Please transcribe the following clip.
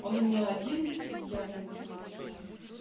он у меня один я блин ну не знаю